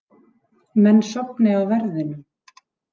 Menn sofni á verðinum